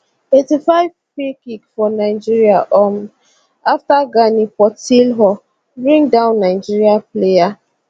85 freekick for nigeria um afta gani portilho bring down nigeria player